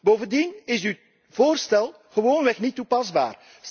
Bovendien is uw voorstel gewoonweg niet toepasbaar.